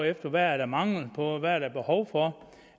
efter hvad der er mangel på hvad der er behov for